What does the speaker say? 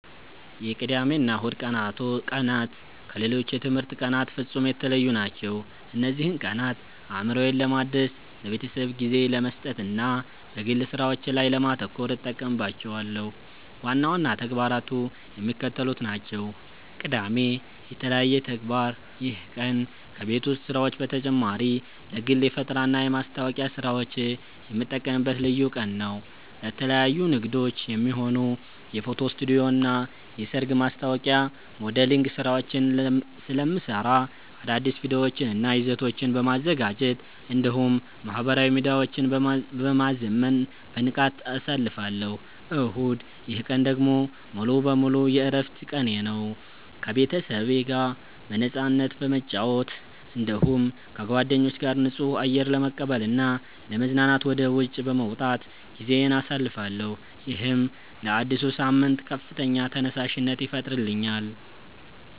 የቅዳሜና እሁድ ቀናት ከሌሎች የትምህርት ቀናት ፍጹም የተለዩ ናቸው። እነዚህን ቀናት አእምሮዬን ለማደስ፣ ለቤተሰቤ ጊዜ ለመስጠትና በግል ሥራዎቼ ላይ ለማተኮር እጠቀምባቸዋለሁ። ዋና ዋና ተግባራቱ የሚከተሉት ናቸው፦ ቅዳሜ (የተለየ ተግባር)፦ ይህ ቀን ከቤት ውስጥ ሥራዎች በተጨማሪ ለግል የፈጠራና የማስታወቂያ ሥራዎቼ የምጠቀምበት ልዩ ቀን ነው። ለተለያዩ ንግዶች የሚሆኑ የፎቶ ስቱዲዮና የሰርግ ማስታወቂያ ሞዴሊንግ ሥራዎችን ስለምሠራ፣ አዳዲስ ቪዲዮዎችንና ይዘቶችን በማዘጋጀት እንዲሁም ማኅበራዊ ሚዲያዎቼን በማዘመን በንቃት አሳልፋለሁ። እሁድ፦ ይህ ቀን ደግሞ ሙሉ በሙሉ የዕረፍት ቀኔ ነው። ከቤተሰቤ ጋር በነፃነት በመጨዋወት፣ እንዲሁም ከጓደኞቼ ጋር ንጹህ አየር ለመቀበልና ለመዝናናት ወደ ውጪ በመውጣት ጊዜዬን አሳልፋለሁ። ይህም ለአዲሱ ሳምንት ከፍተኛ ተነሳሽነት ይፈጥርልኛል።